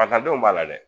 A taa denw b'a la dɛ